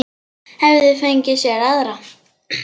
Hefði fengið sér aðra.